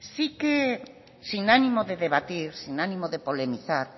sin ánimo de debatir sin ánimo de polemizar